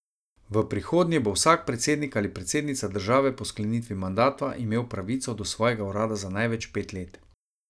V prihodnje bo vsak predsednik ali predsednica države po sklenitvi mandata imel pravico do svojega urada za največ pet let.